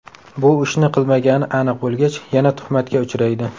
Bu ishni qilmagani aniq bo‘lgach, yana tuhmatga uchraydi.